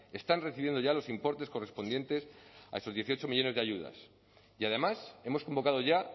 están recibiendo ya los importes correspondientes a esos dieciocho millónes de ayudas y además hemos convocado ya